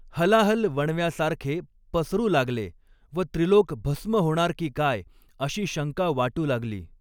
हलाहल वणव्यासारखे पसरूं लागले व त्रिलोक भस्म होणार की काय, अशी शंका वाटू लागली.